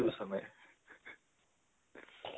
গুচা নাই